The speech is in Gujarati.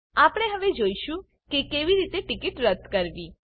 આપણે હવે જોઈશું કે કેવી રીતે ટીકીટ રદ્દ કરવી